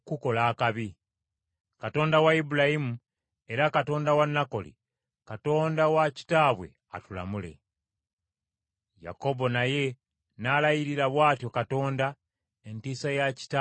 Katonda wa Ibulayimu, era Katonda wa Nakoli, Katonda wa kitaabwe atulamule.” Yakobo naye n’alayirira bw’atyo Katonda, Entiisa ya kitaawe Isaaka.